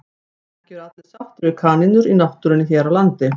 En ekki eru allir sáttir við kanínur í náttúrunni hér á landi.